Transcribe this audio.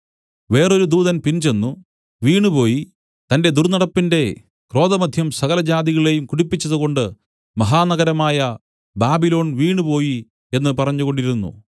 വേറൊരു ദൂതൻ പിൻചെന്നു വീണുപോയി തന്റെ ദുർന്നടപ്പിന്റെ ക്രോധമദ്യം സകലജാതികളെയും കുടിപ്പിച്ചതുകൊണ്ട് മഹാനഗരമായ ബാബിലോൺ വീണുപോയി എന്നു പറഞ്ഞുകൊണ്ടിരുന്നു